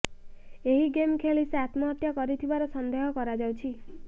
ଏହି ଗେମ୍ ଖେଳି ସେ ଆତ୍ମହତ୍ୟା କରିଥିବାର ସନ୍ଦେହ କରାଯାଉଛି